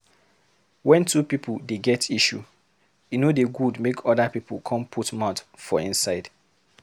Wen two pipo dey get issue, e no dey good make oda pipo come put mouth for inside.